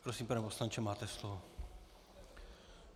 Prosím, pane poslanče, máte slovo.